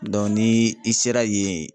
Dɔn ni i sera yen